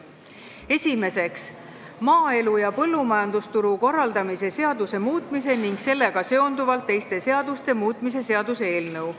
Esimeseks, maaelu ja põllumajandusturu korraldamise seaduse muutmise ning sellega seonduvalt teiste seaduste muutmise seaduse eelnõu.